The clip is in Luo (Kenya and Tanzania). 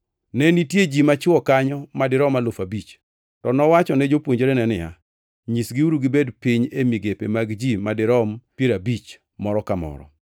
Ne nitie ji machwo kanyo ma dirom alufu abich. To nowachone jopuonjrene niya, “Nyisgiuru gibed piny e migepe mag ji madirom piero abich, moro ka moro.”